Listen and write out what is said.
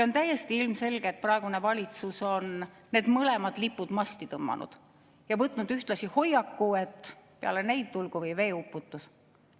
On täiesti ilmselge, et praegune valitsus on need mõlemad lipud masti tõmmanud ja võtnud ühtlasi hoiaku, et peale neid tulgu või veeuputus.